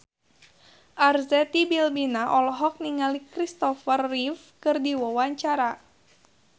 Arzetti Bilbina olohok ningali Christopher Reeve keur diwawancara